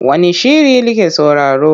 Wane shiri like sauraro?